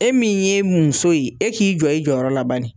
E min ye muso ye, e k'i jɔ i jɔyɔrɔ labani.